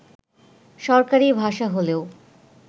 সরকারি ভাষা হলেও